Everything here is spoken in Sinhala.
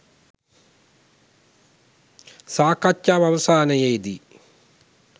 සාකච්ඡාව අවසානයේදී